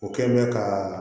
O kɛ bɛ ka